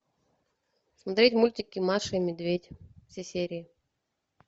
смотреть мультики маша и медведь все серии